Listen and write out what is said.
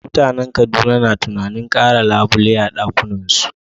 Mutanen Kaduna na tunanin kara labule a ɗakunansu